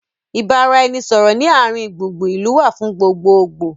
ìbáraẹnisọọ̀rọ̀ ni àárín gbùngbùn ìlú wá fún gbogbogboo